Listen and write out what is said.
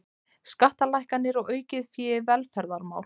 Skattalækkanir og aukið fé í velferðarmál